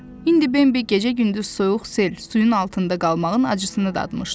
İndi Bambi gecə-gündüz soyuq sel suyun altında qalmağın acısını dadmışdı.